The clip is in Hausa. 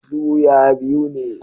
Su ya biu ne